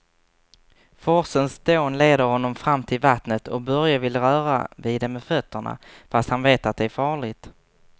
Forsens dån leder honom fram till vattnet och Börje vill röra vid det med fötterna, fast han vet att det är farligt.